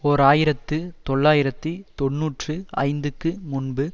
ஓர் ஆயிரத்து தொள்ளாயிரத்துதி தொன்னூற்றி ஐந்துக்கு முன்பு